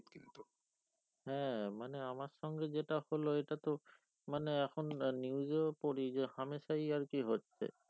হ্যাঁ মানে আমার সঙ্গে যেটা হোলো এটা তো মানে এখন news এও পড়ি যে হামেশাই আরকি হচ্ছে